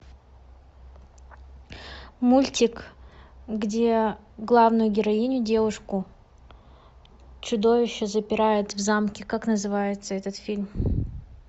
мультик где главную героиню девушку чудовище запирает в замке как называется этот фильм